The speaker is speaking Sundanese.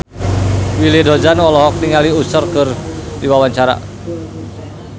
Willy Dozan olohok ningali Usher keur diwawancara